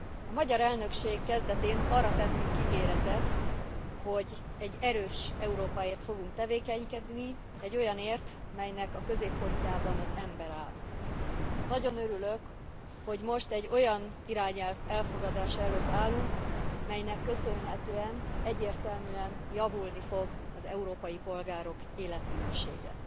A magyar elnökség kezdetén arra tettünk ígéretet, hogy egy erős Európáért fogunk tevékenykedni, egy olyanért, melynek a középpontjában az ember áll. Nagyon örülök, hogy most egy olyan irányelv elfogadása előtt állunk, melynek köszönhetően egyértelműen javulni fog az európai polgárok életminősége.